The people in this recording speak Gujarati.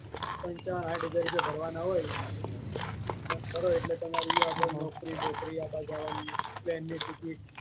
પંચાવન સાહીઠ હજાર રુપયા ભરવાનાં હોય એટલે તમારે એયો નોકરી બોકરી આવવાં જવાની plane ની ticket